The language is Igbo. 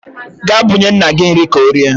Ga bunye nna gi nri ka orie